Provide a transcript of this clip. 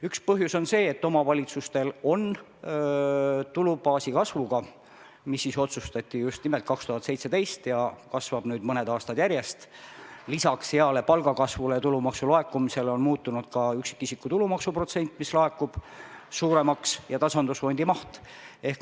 Üks põhjus on see, et omavalitsustel on seoses tulubaasi kasvuga, mis otsustati just nimelt 2017 ja see on kasvanud nüüd juba mitu aastat järjest, lisaks heale palgakasvule ja tulumaksu laekumisele muutunud suuremaks ka üksikisiku tulumaksu protsent ja tasandusfondi maht.